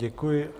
Děkuji.